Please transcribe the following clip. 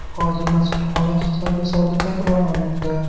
Hozir mazkur holat Xitoy misolida takrorlanmoqda.